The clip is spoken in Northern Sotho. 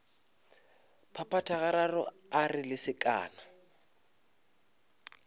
phaphatha gararo a re lesekana